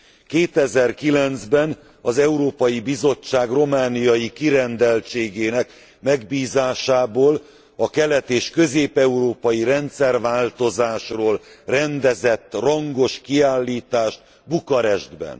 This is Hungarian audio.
2009 ben az Európai Bizottság romániai kirendeltségének megbízásából a kelet és közép európai rendszerváltozásról rendezett rangos kiállítást Bukarestben.